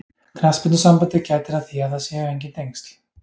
Knattspyrnusambandið gætir að því að það séu enginn tengsl.